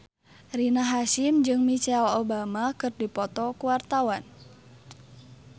Rina Hasyim jeung Michelle Obama keur dipoto ku wartawan